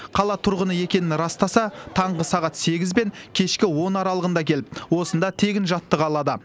қала тұрғыны екенін растаса таңғы сағат сегіз бен кешкі он аралығында келіп осында тегін жаттыға алады